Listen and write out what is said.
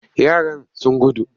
Yaran sun gudu.